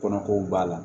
Kɔnɔko b'a la